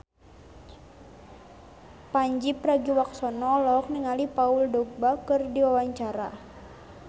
Pandji Pragiwaksono olohok ningali Paul Dogba keur diwawancara